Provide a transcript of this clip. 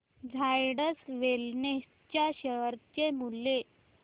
Zydus wellness च्या share चे मूल्य